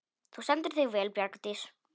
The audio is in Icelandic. Þú stendur þig vel, Bjargdís!